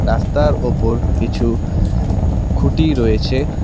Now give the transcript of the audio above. রাস্তার ওপর কিছু খুঁটি রয়েছে।